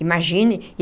Imagine.